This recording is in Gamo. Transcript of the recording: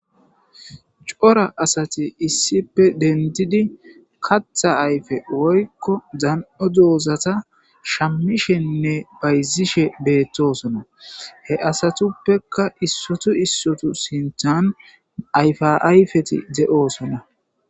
cora asati issippe dentidi katha ayfe woykko zan7o doozata shammishenne bayzishe beettosona he asatuppekka issotu issotu sinthan ayfa ayfeti ze7oosonna